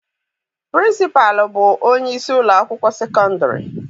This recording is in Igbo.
Pịrịnsịpalụ bụ onyeisi ụlọakwụkwọ sekọndịrị.